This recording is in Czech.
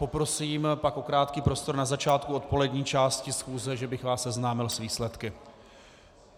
Poprosím pak o krátký prostor na začátku odpolední části schůze, že bych vás seznámil s výsledky.